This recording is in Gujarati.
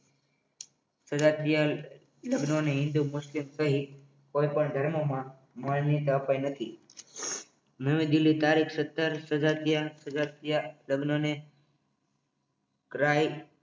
તથા બે લગ્નની હિન્દુ મુસ્લિમ સહિત કોઈ પણ ધર્મમાં માન્યતા અપાઈ નથી નવી દિલ્હી તારીખ સતર સજાતીય સજાતીય લગ્નને રહી